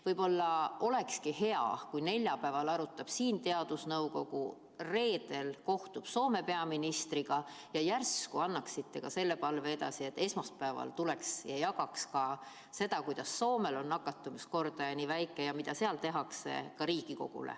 Võib-olla olekski hea, kui neljapäeval arutab siin teadusnõukogu, reedel kohtub Soome peaministriga, ja järsku annaksite ka selle palve edasi, et esmaspäeval ta tuleks ja jagaks seda, kuidas Soomel on nakatumiskordaja nii väike ja mida seal tehakse, ka Riigikogule.